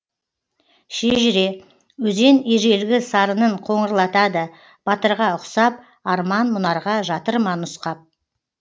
шежіре өзен ежелгі сарынын қоңырлатады батырға ұқсап арман мұнарға жатыр ма нұсқап